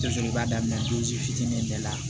Dɔ fɛnɛ b'a daminɛ fitinin bɛɛ la